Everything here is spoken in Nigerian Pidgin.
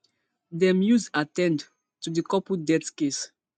dem use at ten d to di couple death case